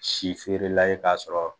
Si feerela ye k'a sɔrɔ